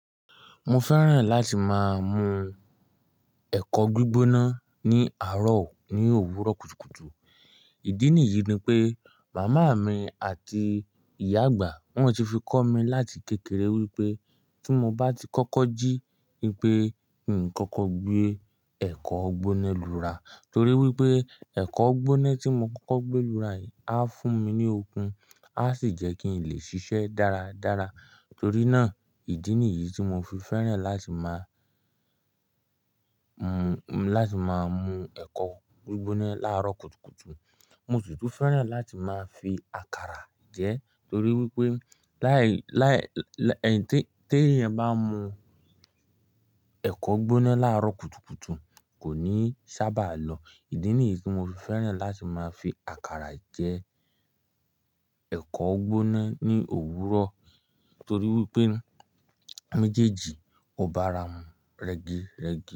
Mo fẹ́ràn láti máa mu ẹ̀kọ gbígbóná ní àárọ̀ ní òwúrọ̀ kùtùkùtù. Ìdí nìyí ni pé màmá mi àti ìyá àgbà wọ́n ti fi kọ́ mi láti kékeré wípé tí mo bá ti kọ́kọ́ jí ipè, n kọ́kọ́ gbé ẹ̀kọ́ gbóná lura torí wípé ẹ̀kọ́ gbóná tí mo kọ́kọ́ gbé lura á fún mi ní okun, a sì jẹ́ kí n lè ṣiṣẹ́ dáradára. Torí náà, ìdí nìyí tí mo fi fẹ́ràn láti máa mu, mu láti máa mu ẹ̀kọ́ gbígbóná láàárọ̀ kùtùkùtù. Mo tún tún fẹ́ràn láti máa fi àkàrà jẹ torí wípé láì, láì, láì tí èèyàn bá mu ẹ̀kọ́ gbóná láàárọ̀ kùtùkùtù kò ní sábà lọ. Ìdí nìyí tí mo fi fẹ́ràn láti máa fi àkàrà jẹ ẹ̀kọ́ gbóná ní òwúrọ̀ torí wípé méjèèjì ò bá ara mu rẹ́gìrẹ́gì.